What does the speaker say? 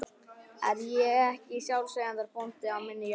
Er ég ekki sjálfseignarbóndi á minni jörð?